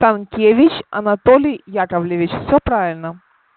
станкевич анатолий яковлевич все правильно